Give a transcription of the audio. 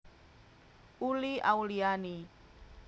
Uli Auliani